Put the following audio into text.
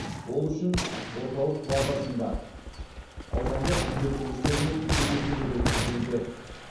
ол үшін орталық базасында аудандық үйлестірушілермен кездесулер өткізілуде